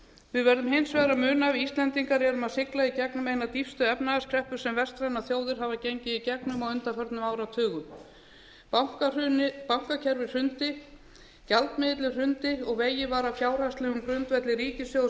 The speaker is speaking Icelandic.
við verðum hins vegar að muna að við íslendingar erum að sigla í gegnum eina dýpstu efnahagskreppu sem vestrænar þjóðir hafa gengið í gegnum á undanförnum áratugum bankakerfið hrundi gjaldmiðillinn hrundi og vegið var að fjárhagslegum grundvelli ríkissjóðs